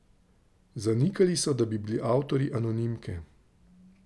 Zanikali so, da bi bili avtorji anonimke.